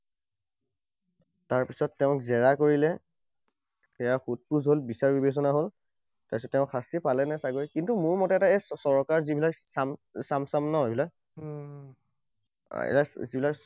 তাৰপিছত তেওঁক জেৰা কৰিলে, সেৱা সুধ পোছ হল, বিচাৰ বিবেচনা হল। তাৰপিছত তেওঁ শাস্তি পালেনে চাগৈ। কিন্তু মোৰ মতে এতিয়া এই চৰকাৰৰ যিবোৰ ন এইবিলাক, এইবিলাক যিবিলাক